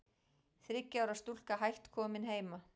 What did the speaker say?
Þriggja ára stúlka hætt komin heima